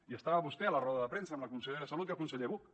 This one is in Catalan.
hi estava vostè a la roda de premsa amb la consellera salut i el conseller buch